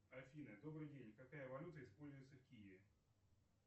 афина добрый день какая валюта используется в киеве